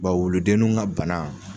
Ba wuludeninw ka bana